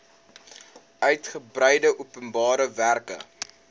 uigebreide openbare werke